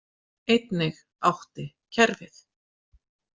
Einnig átti kerfið.